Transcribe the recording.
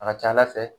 A ka ca ala fɛ